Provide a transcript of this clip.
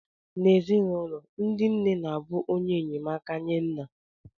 N'ezinụlọ, ndị nne na-abụ onye enyemaka nye nna